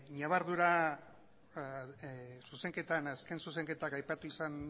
ñabardurak zuzenketan azken zuzenketak aipatu izan